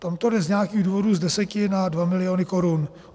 Tam to jde z nějakých důvodů z deseti na dva miliony korun.